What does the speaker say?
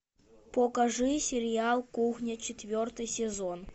покажи сериал кухня четвертый сезон